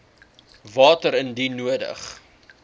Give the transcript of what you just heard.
water indien nodig